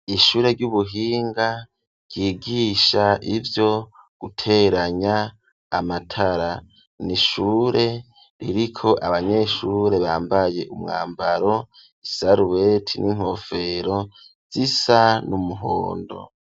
Ishure ry'ubuhinga ryigisha ivyo guteranya amatara. Ni ishure ririko abanyeshure bambaye umwambaro isarubeti n'inkofero zisa n'umuhondo.